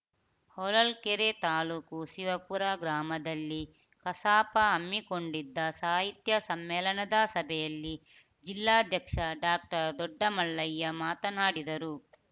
ಹೊಳಲ್ಕೆರೆ ತಾಲೂಕು ಶಿವಪುರ ಗ್ರಾಮದಲ್ಲಿ ಕಸಾಪ ಹಮ್ಮಿಕೊಂಡಿದ್ದ ಸಾಹಿತ್ಯ ಸಮ್ಮೇಳನದ ಸಭೆಯಲ್ಲಿ ಜಿಲ್ಲಾಧ್ಯಕ್ಷ ಡಾಕ್ಟರ್ ದೊಡ್ಡಮಲ್ಲಯ್ಯ ಮಾತನಾಡಿದರು